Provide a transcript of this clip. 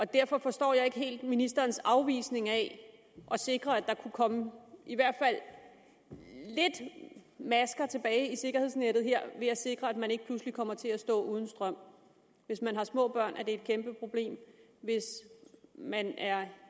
derfor forstår jeg ikke helt ministerens afvisning af at sikre at der kunne komme i hvert fald lidt masker tilbage i sikkerhedsnettet her ved at sikre at man ikke pludselig kommer til at stå uden strøm hvis man har små børn er det et kæmpe problem og hvis man er